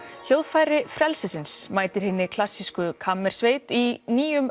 hljóðfæri frelsisins mætir hinni klassísku kammersveit í nýjum